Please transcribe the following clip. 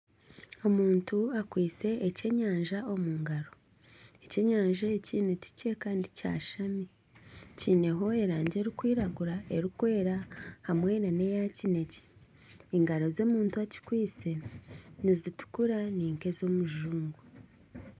Omuntu akwaitse ekyenyanja omu ngaro, ekyenyanja eki ni kikye kandi kyashami. Kiineho erangi erikwiragura, erikwera hamwe nana eya kinekye. Engaro z'omuntu akikwaitse nizitukura ni nk'ez'omujungu.